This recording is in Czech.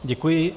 Děkuji.